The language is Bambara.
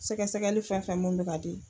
Sɛgɛsɛgɛli fɛn fɛn munn bi ka di.